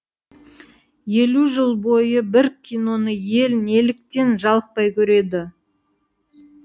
елу жыл бойы бір киноны ел неліктен жалықпай көреді